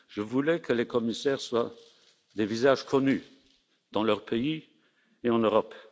Je voulais que les commissaires soient des visages connus, dans leur pays ou en Europe.